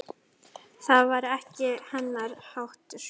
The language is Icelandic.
Það var ekki hennar háttur.